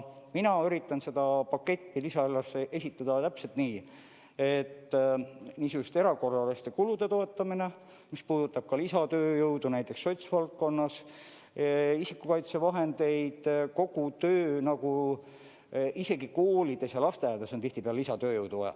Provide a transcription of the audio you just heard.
Mina üritan seda paketti lisaeelarvesse esitada täpselt nii, et niisuguste erakorraliste kulude toetamine, mis puudutab ka lisatööjõudu, näiteks sotsiaalvaldkonnas, isikukaitsevahendeid, kogu tööd, isegi koolides ja lasteaedades on tihtipeale lisatööjõudu vaja.